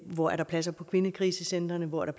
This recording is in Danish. hvor der er pladser på kvindekrisecentre hvor der